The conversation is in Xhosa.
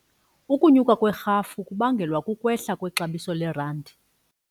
Ukunyuka kwerhafu kubangelwa kukwehla kwexabiso lerandi.